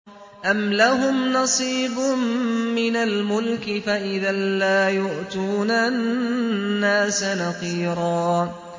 أَمْ لَهُمْ نَصِيبٌ مِّنَ الْمُلْكِ فَإِذًا لَّا يُؤْتُونَ النَّاسَ نَقِيرًا